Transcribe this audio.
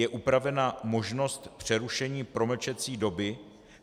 Je upravena možnost přerušení promlčecí doby.